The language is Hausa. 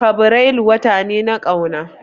Fabrairu wata ne na ƙauna